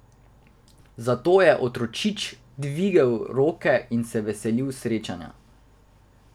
Zato je otročič dvigal roke in se veselil srečanja.